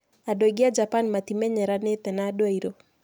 Andũ aingĩ a Japan matimenyeranĩte na andũ airũ.